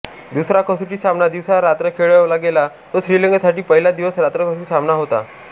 दुसरा कसोटी सामना दिवसा रात्र खेळवला गेला तो श्रीलंकेसाठी पहिलाच दिवस रात्र कसोटी सामना होता